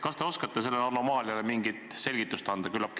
Kas te oskate sellele anomaaliale mingit selgitust anda?